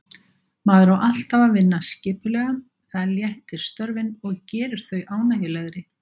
Maður á alltaf að vinna skipulega, það léttir störfin og gerir þau ánægjulegri.